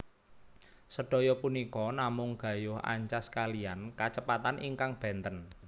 Sedaya punika namung gayuh ancas kaliyan kecepatan ingkang benten